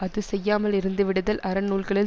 அது செய்யாமல் இறந்துவிடுதல் அறநூல்களில்